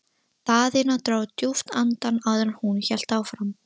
Daðína dró djúpt andann áður en hún hélt áfram.